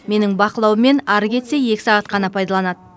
менің бақылауыммен ары кетсе екі сағат қана пайдаланады